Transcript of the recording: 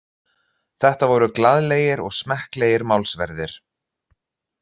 Þetta voru glaðlegir og smekklegir málsverðir